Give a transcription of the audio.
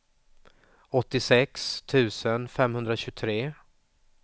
åttiosex tusen femhundratjugotre